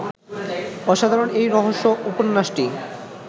অসাধারণ এই রহস্য উপন্যাসটি